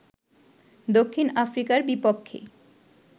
দক্ষিণ আফ্রিকার বিপক্ষে